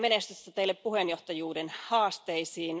Onnea ja menestystä teille puheenjohtajuuden haasteisiin!